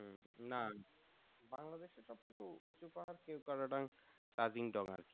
না বাংলাদেশের সব থেকে উচু উচু পাহাড় কেওক্রাডং, তাজিংডং আর কি